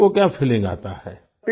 patient को क्या feeling आता है